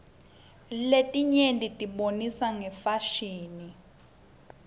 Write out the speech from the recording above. letinyetibonisa ngefasihni